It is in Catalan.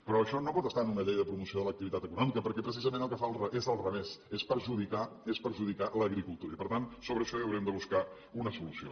però això no pot estar en una llei de promoció de l’activitat econòmica perquè precisament el que fa és al revés és perjudicar és perjudicar l’agricultura i per tant sobre això hi haurem de buscar una solució